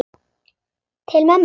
Til mömmu.